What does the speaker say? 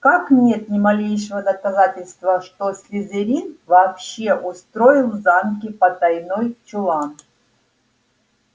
как нет ни малейшего доказательства что слизерин вообще устроил в замке потайной чулан